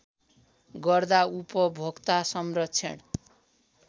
गर्दा उपभोक्ता संरक्षण